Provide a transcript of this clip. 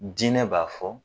Diinɛ b'a fɔ